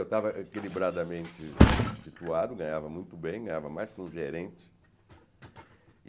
Eu estava equilibradamente situado, ganhava muito bem, ganhava mais que um gerente.